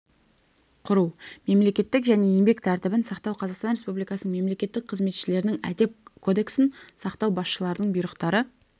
құру мемлекеттік және еңбек тәртібін сақтау қазақстан республикасы мемлекеттік қызметшілерінің әдеп кодексін сақтау басшылардың бұйрықтары